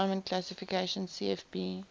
climate classification cfb